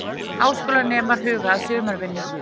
Háskólanemar huga að sumarvinnu